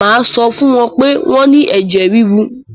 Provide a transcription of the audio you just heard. Mà á sọ fún wọ́n pé wọ́n ní ẹ̀jẹ̀-ríru.